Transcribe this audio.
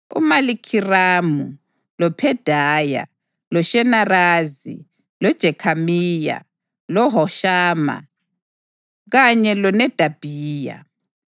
uMalikhiramu, loPhedaya, loShenazari, loJekhamiya, loHoshama, kanye loNedabhiya.